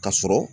Ka sɔrɔ